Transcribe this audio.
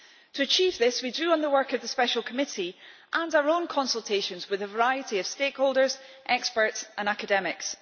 To achieve this, we drew on the work of the special committee and our own consultations with a variety of stakeholders, experts and academics.